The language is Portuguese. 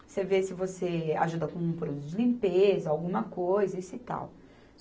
Você vê se você ajuda com produtos de limpeza, alguma coisa isso e tal.